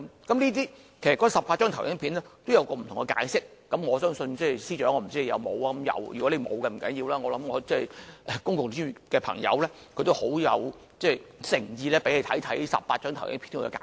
其實，那18張投影片都有不同解釋，我不知道司長有沒有看過，如果沒有，不要緊，我相信公共資源的朋友很有誠意給他看看這18張投影片的解釋。